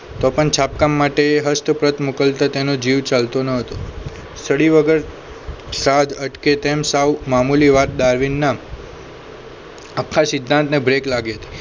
તો પણ છાપકામ માટે હસ્તપ્રત મોકલતા તેનો જીવ ચાલતો ન હતો study વગર સાજ અટકે તેમ સાવ મામુલી વાત ડાર્વિનના આખા સિદ્ધાંતને break લાગે